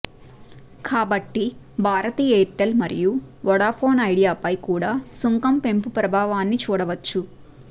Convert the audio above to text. కాబట్టి భారతీ ఎయిర్టెల్ మరియు వొడాఫోన్ ఐడియాపై కూడా సుంకం పెంపు ప్రభావాన్ని చూడవచ్చు